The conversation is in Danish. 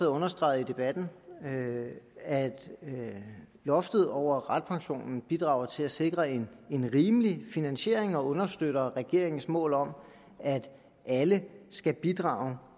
understreget i debatten at loftet over ratepension bidrager til at sikre en rimelig finansiering og understøtter regeringens mål om at alle skal bidrage